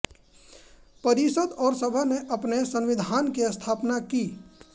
परिषद और सभा ने अपने संविधान की स्थापना की